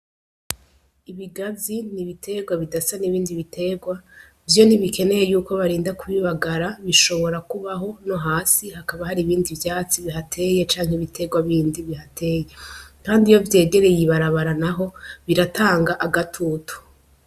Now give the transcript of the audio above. Ibigazi ni ibiterwa bidasa n'ibindi biterwa; vyo ntibikeneye y'uko barinda kubibagara, bishobora kubaho no hasi hakaba hari ibindi vyatsi bihateye canke ibiterwa bindi bihateye. Kandi iyo vyegereye ibarabara naho biratanga agatutu.